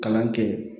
Kalan kɛ